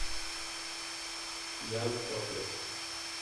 ян топлес